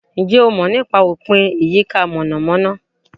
Ǹjẹ́ o mọ̀ nípa Opin Iyika monamona?